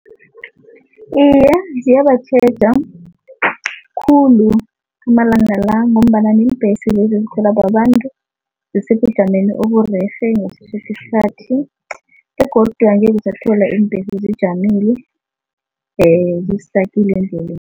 Iye, ziyabatjheja khulu amalanga la ngombana neembhesi lezi ezikhelwa babantu zisebujameni oburerhe ngaso soke isikhathi begodu angeke usathola iimbhesi sijamile zistakile endleleni.